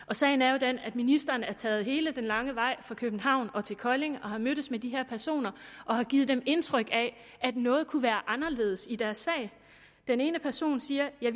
og sagen er jo den at ministeren er taget hele den lange vej fra københavn til kolding og har mødtes med de her personer og har givet dem indtryk af at noget kunne være anderledes i deres sag den ene person siger jeg